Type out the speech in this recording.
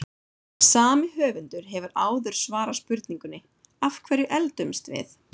Sami höfundur hefur áður svarað spurningunni Af hverju eldumst við?